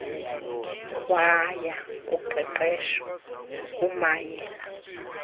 waya kuqeqeshwa ngokumayela